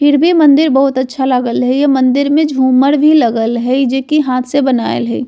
फिर भी मंदिर बहुत अच्छा लागल हेय ये मंदिर में झूमर भी लगल हेय जे की हाथ से बनाएल हेय।